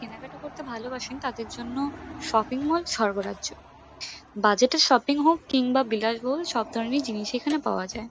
কেনাকাটা করতে ভালোবাসেন তাদের জন্য শপিং মল সর্গ রাজ্য বাজেট -এ শপিং হোক কিংবা বিলাসবহুল সবধরণের জিনিসই এখানে পাওয়া যায়।